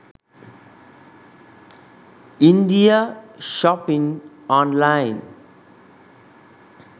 india shopping online